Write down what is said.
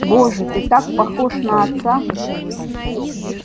боже ты так похож на отца